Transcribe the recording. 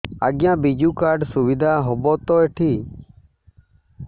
ଆଜ୍ଞା ବିଜୁ କାର୍ଡ ସୁବିଧା ହବ ତ ଏଠି